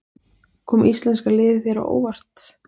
Kom íslenska liðið þér á óvart?